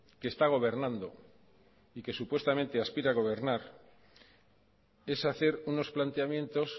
que está gobernando y que supuestamente aspira a gobernar es hacer unos planteamientos